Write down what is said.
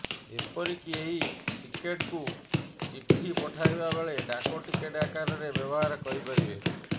ଏପରିକି ଏହି ଟିକେଟ୍କୁ ଚିଠି ପଠାଇବା ବେଳେ ଡାକଟିକେଟ ଆକାରରେ ବ୍ୟବହାର କରିପାରିବେ